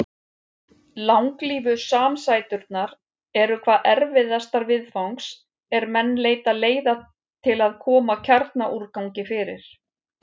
Langlífu samsæturnar eru hvað erfiðastar viðfangs er menn leita leiða til að koma kjarnorkuúrgangi fyrir.